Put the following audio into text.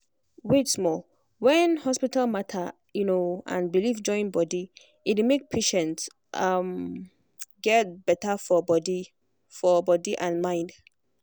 wait small when hospital matter um and belief join body e dey make patient um get better for body for body and mind.